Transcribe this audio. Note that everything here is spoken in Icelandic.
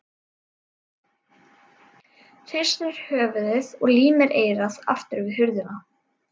Hristir höfuðið og límir eyrað aftur við hurðina.